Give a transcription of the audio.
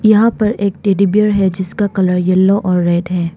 यहां पर एक टेडी बेयर है जिसका कलर येलो और रेड है।